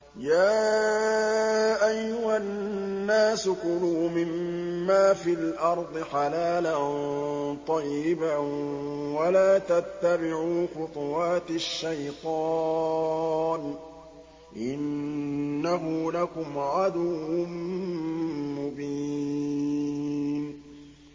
يَا أَيُّهَا النَّاسُ كُلُوا مِمَّا فِي الْأَرْضِ حَلَالًا طَيِّبًا وَلَا تَتَّبِعُوا خُطُوَاتِ الشَّيْطَانِ ۚ إِنَّهُ لَكُمْ عَدُوٌّ مُّبِينٌ